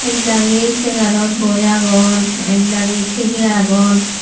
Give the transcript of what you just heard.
ek dagi segaarot boi agon ekdagi tighey agon.